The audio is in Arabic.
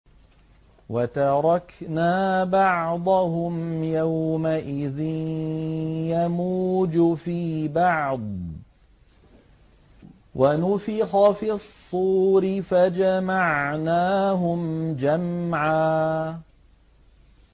۞ وَتَرَكْنَا بَعْضَهُمْ يَوْمَئِذٍ يَمُوجُ فِي بَعْضٍ ۖ وَنُفِخَ فِي الصُّورِ فَجَمَعْنَاهُمْ جَمْعًا